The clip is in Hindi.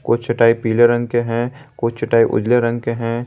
कुछ चटाई पीले रंग के हैं कुछ चटाई उजले रंग के हैं।